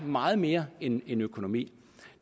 meget mere end økonomi